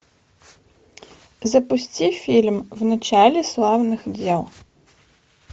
запусти фильм в начале славных дел